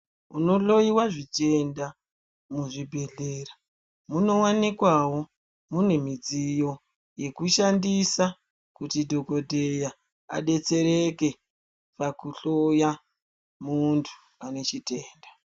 Kunohloyiwa zvitenda kuzvibehleya munowanikwawo mune midziyo yekushandisa kuti dhokodheya adetsereke pakuhloya munthu ane chitenda.